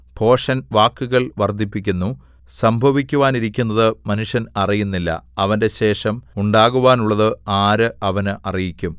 ഭോഷൻ വാക്കുകൾ വർദ്ധിപ്പിക്കുന്നു സംഭവിക്കുവാനിരിക്കുന്നത് മനുഷ്യൻ അറിയുന്നില്ല അവന്റെ ശേഷം ഉണ്ടാകുവാനുള്ളത് ആര് അവനെ അറിയിക്കും